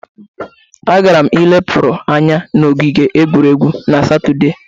Agara m ilepụrụ anya n'ogige egwuregwu odịnaala na satọde.